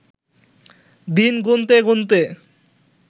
দিন গুনতে গুনতে